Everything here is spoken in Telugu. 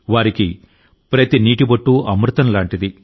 వారికి ప్రతి నీటి బొట్టు అమృతం లాంటిది